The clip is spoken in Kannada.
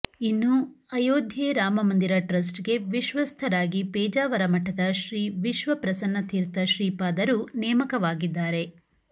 ಇನ್ನು ಅಯೋಧ್ಯೆ ರಾಮಮಂದಿರ ಟ್ರಸ್ಟ್ಗೆ ವಿಶ್ವಸ್ಥ ರಾಗಿ ಪೇಜಾವರ ಮಠದ ಶ್ರೀ ವಿಶ್ವಪ್ರಸನ್ನತೀರ್ಥ ಶ್ರೀಪಾದರು ನೇಮಕವಾಗಿದ್ದಾರೆ